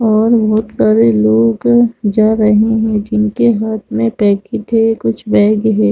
और बहुत सारे लोग जा रहे है जिनके हाथ में पैकेट है कुछ बैग है।